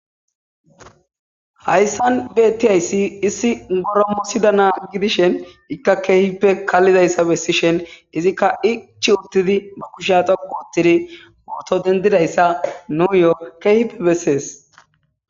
Hayssan beettiyayssi issi goromosida naa gidishen ikka keehipe kallidayssa bessishen izikka ichi uttidi ba kushya xogu uttidi mooto dendidayssa nuuyo keehipe bessees.